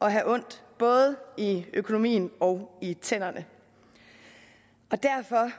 at have ondt både i økonomien og i tænderne og derfor